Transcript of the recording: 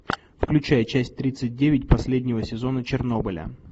включай часть тридцать девять последнего сезона чернобыля